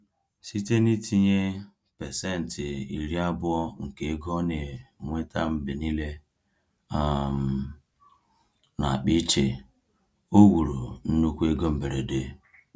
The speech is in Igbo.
Site n’itinye 20% nke ego o na-enweta mgbe niile um n’akpa iche, o wuru nnukwu ego mberede.